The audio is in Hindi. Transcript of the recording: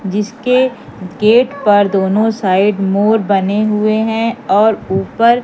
जिसके गेट पर दोनों साइड मोर बने हुए हैं और ऊपर--